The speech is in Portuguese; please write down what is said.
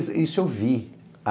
Isso eu vi.